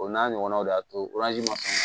O n'a ɲɔgɔnnaw de y'a to ma